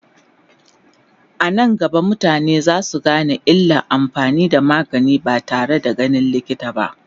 anan gaba mutane zasu Gane illan amfani da magani ba tare da ganin likita ba